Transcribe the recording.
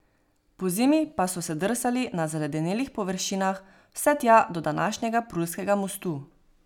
Pozimi pa so se drsali na zaledenelih površinah vse tja do današnjega Prulskega mostu.